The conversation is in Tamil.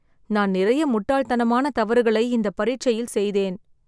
நான் நிறைய முட்டாள்தனமான தவறுகளை இந்த பரீட்ச்சையில் செய்தேன்